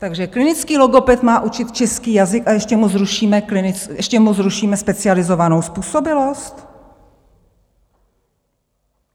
Takže klinický logoped má učit český jazyk, a ještě mu zrušíme specializovanou způsobilost?